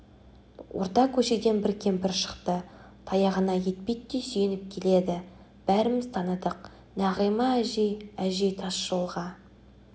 орта көшеден бір кемпір шықты таяғына етпеттей сүйеніп келеді бәріміз таныдық нағима әжей әжей тас жолға